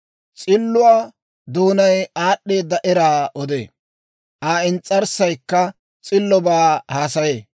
S'illuwaa doonay aad'd'eeda eraa odee; Aa ins's'arssaykka s'illobaa haasayee.